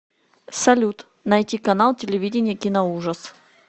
салют найти канал телевидения киноужас